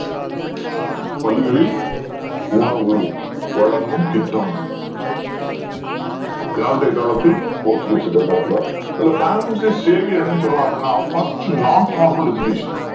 பள்ளிகளில் உணவு வழங்கும் திட்டம் யாருடைய காலத்தில் போர்ச்சுகீசியர்கள் காலத்தில இதுல Francis Xavier என்ன சொல்றான் அப்படின்னா First Nonformal Education